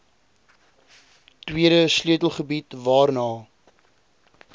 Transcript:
tweede sleutelgebied waarna